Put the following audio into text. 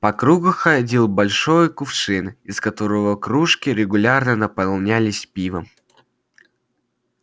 по кругу ходил большой кувшин из которого кружки регулярно наполнялись пивом